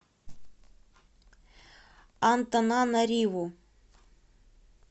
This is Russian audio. антананариву